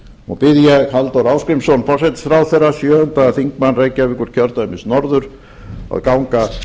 og bið ég halldór ásgrímsson forsætisráðherra sjöundi þingmaður reykjavíkurkjördæmis norður að ganga